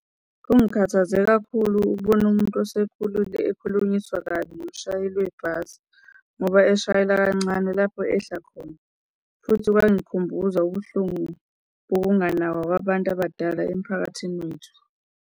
Kungikhathaze kakhulu ukubona umuntu osekhulile ekhulunyiswa kabi umshayeli webhasi, ngoba eshayela kancane lapho ehla khona. Futhi kwangikhumbuza ubuhlungu bokunganakwa kwabantu abadala emphakathini wethu.